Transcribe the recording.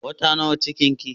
Wata nawa cikin ki?